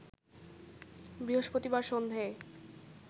বৃহস্পতিবার সন্ধেয়